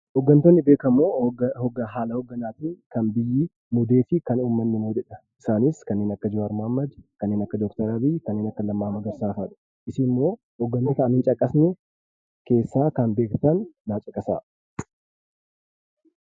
Hoggantooti beekamoo haala hogganaa kan biyyi muudee fi uummanni dha. Isaanis kanneen akka Jawwar Mohammad, kanneen akka Abiyyii fi Lammaa Magarsaa fa'aadha. Isin immoo hoggantoota Ani hin caqafne keessaa kan beektan naaf caqasaa.